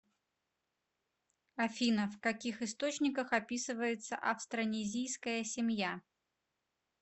афина в каких источниках описывается австронезийская семья